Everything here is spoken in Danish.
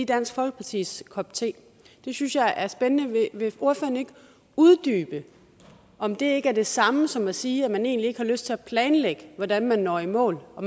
dansk folkepartis kop te det synes jeg er spændende vil ordføreren ikke uddybe om det ikke er det samme som at sige at man egentlig ikke har lyst til at planlægge hvordan man når i mål og